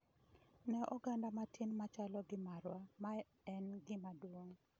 "Ne oganda matin machalo gi marwa, mae en gima duong'.